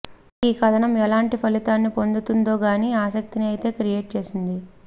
మరి ఈ కథనం ఎలాంటి ఫలితాన్ని పొందుతుందో కానీ ఆసక్తిని అయితే క్రియేట్ చేసింది